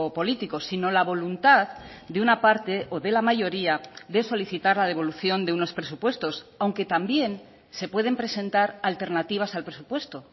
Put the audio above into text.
político sino la voluntad de una parte o de la mayoría de solicitar la devolución de unos presupuestos aunque también se pueden presentar alternativas al presupuesto